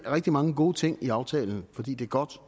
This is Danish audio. er rigtig mange gode ting i aftalen fordi det er godt